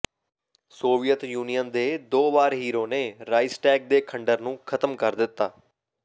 Soviet Union ਦੇ ਦੋ ਵਾਰ ਹੀਰੋ ਨੇ ਰਾਇਸਟੈਗ ਦੇ ਖੰਡਰ ਨੂੰ ਖਤਮ ਕਰ ਦਿੱਤਾ